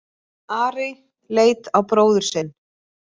Ari leit á bróður sinn.